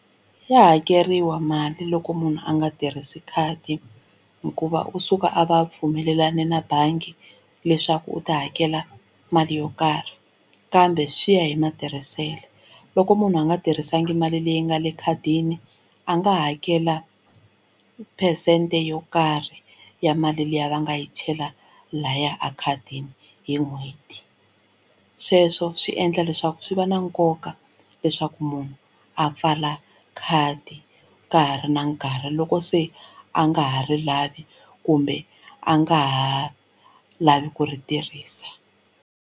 Ya hakeriwa mali loko munhu a nga tirhisi khadi hikuva u suka a va pfumelelane na bangi leswaku u ta hakela mali yo karhi kambe swi ya hi matirhiselo loko munhu a nga tirhisanga mali leyi nga le ekhadini a nga hakela phesente yo karhi ya mali liya va nga yi chela lahaya a khadini hi n'hweti sweswo swi endla leswaku swi va na nkoka leswaku munhu a pfala khadi ka ha ri na nkarhi loko se a nga ha ri lavi kumbe a nga ha lavi ku ri tirhisa.